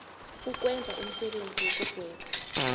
ukwenza umsebenzi wokugweba